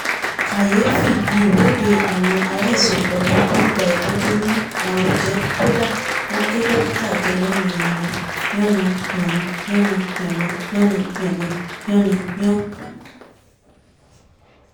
kàyéfì ni ìwọ́de àwọn aláìsàn ọpọlọ tó ń gba ìtọ́jú ni aro jẹ́ kódà wọ́n gé dókítà jẹ́ yànnà-yànnà-yànnà-yànnà-yànnà-yànnà-yànnà-yànnà-yànnà-yàn